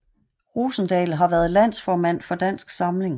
Rosendal har været landsformand for Dansk Samling